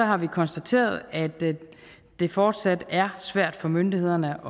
har vi konstateret at det fortsat er svært for myndighederne